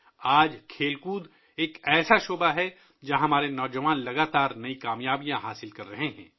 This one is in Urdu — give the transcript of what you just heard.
آج کھیل کود ایک ایسا شعبہ ہے ، جہاں ہمارے نوجوان مسلسل نئی کامیابیاں حاصل کر رہے ہیں